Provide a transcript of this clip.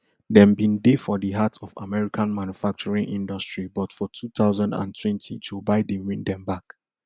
dem bin dey for di heart of american manufacturing industry but for two thousand and twenty joe biden win dem back